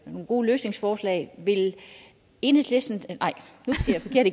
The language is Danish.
nogle gode løsningsforslag vil enhedslisten nej nu siger jeg